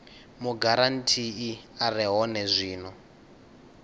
mugarantii a re hone zwino